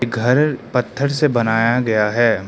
घर पत्थर से बनाया गया है।